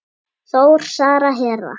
Þór, Sara, Hera.